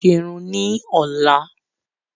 Mo fẹ́ lọ ra àwọn ohun ìsẹrun ni ọ̀la